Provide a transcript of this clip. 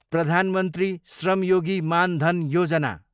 प्रधान मन्त्री श्रम योगी मान धन योजना